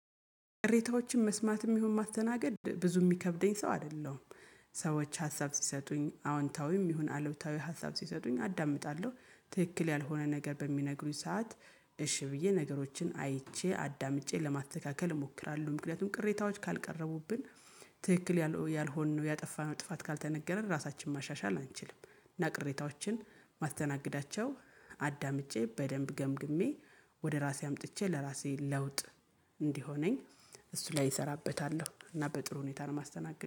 ቅሬታዎችን መስማትም ይሁን ማስተናገድ ብዙ የሚከብደኝ ሰው አይደለም ሰዎች ሀሳብ ሲሰጡኝ አዎንታዊም ይሁን አሉብታዊ ሀሳብ ሲሰጡኝ አዳምጣለሁ ትክክል ያልሆነ ነገር በሚነግሩኝ ሰዓት እሺ ብዬ ነገሮችን አይቼ አዳምጬ ለማተካከል እሞክራለሁ ምክንያቱም ቅሬታዎች ካልቀረቡብን ትክክል ያልሆነው ያጠፋነው ጥፋት ካልተነገረን ራሳችንን ማሻሻል አንችልም እና ቅሬታዎችን ማስተናግዳቸው አዳምጬ በደንብ ገምግሜ ወደ ራሴ አምጥቼ ለራሴ ለውጥ እንዲሆነኝ እሱ ላይ እሰራበታለሁ እና በጥሩ ሁኔታ ለማስተናገድ።